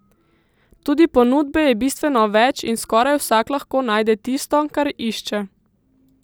Tudi ponudbe je bistveno več in skoraj vsak lahko najde tisto, kar išče.